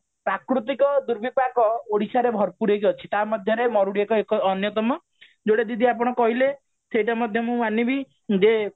ପ୍ରାକୃତିକ ଦୁର୍ବିପାକ ଓଡିଶାରେ ଭରପୁର ହେଇକି ଅଛି ତା ମଧ୍ୟରେ ମରୁଡି ଏ ଏକ ଅନ୍ଯତମ ଯୋଉଟା ଦିଦି ଆପଣ କହିଲେ ସେଟା ମଧ୍ୟ ମୁଁ ମାନିବି ଯେ